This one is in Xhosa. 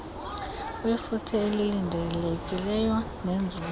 wefuthe elilindelekileyo nenzuzo